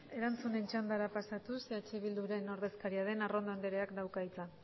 erantzunen txandara pasatuz eh bilduren ordezkaria den arrondo andreak dauka hitza